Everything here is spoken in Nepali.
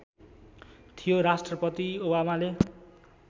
थियो राष्ट्रपति ओबामाले